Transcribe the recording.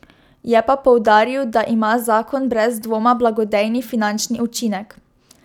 Je pa poudaril, da ima zakon brez dvoma blagodejni finančni učinek.